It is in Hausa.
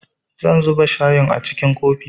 Zan zuba shayin a cikin kofi